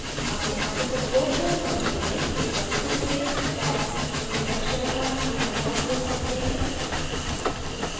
अपने article को पूर्ण करते हैं एक बार फिर से tags introduction और drupal का उपयोग करते हैं